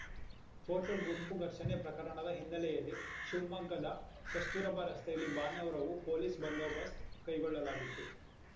photo ಗುಂಪು ಘರ್ಷಣೆ ಪ್ರಕರಣದ ಹಿನ್ನೆಲೆಯಲ್ಲಿ ಶಿವಮೊಗ್ಗದ ಕಸ್ತೂರಬಾ ರಸ್ತೆಯಲ್ಲಿ ಭಾನುವಾರವೂ ಪೊಲೀಸ್‌ ಬಂದೋಬಸ್ತ್ ಕೈಗೊಳ್ಳಲಾಗಿತ್ತು